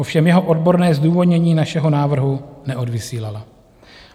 Ovšem jeho odborné zdůvodnění našeho návrhu neodvysílala.